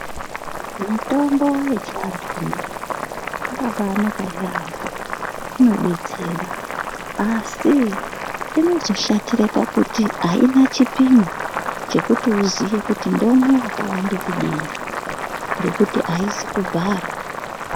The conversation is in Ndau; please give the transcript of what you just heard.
Mitombo yechiantu yakabainaka yambo inodetsera asi inozoshatire pakuti aina chipino chekuti uziye ndomwe wakawande kudini ngekuti aizi kubharwa.